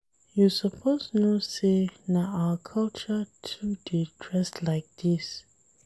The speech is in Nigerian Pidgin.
You suppose know sey na our culture to dey dress like dis.